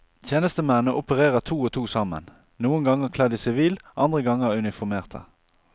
Tjenestemennene opererer to og to sammen, noen ganger kledd i sivil, andre ganger uniformerte.